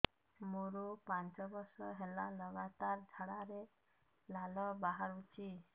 ମୋରୋ ପାଞ୍ଚ ବର୍ଷ ହେଲା ଲଗାତାର ଝାଡ଼ାରେ ଲାଳ ବାହାରୁଚି